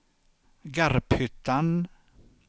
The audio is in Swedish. Garphyttan